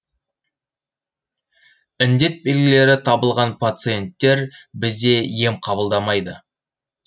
індет белгілері табылған пациенттер бізде ем қабылдамайды